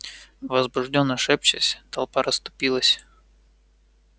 возбуждённо шепчась толпа расступилась